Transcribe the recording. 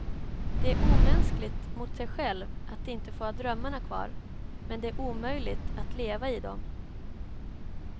Det är omänskligt mot sig själv att inte få ha drömmarna kvar, men det är omöjligt att leva i dem.